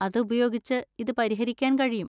അത് ഉപയോഗിച്ച് ഇത് പരിഹരിക്കാൻ കഴിയും.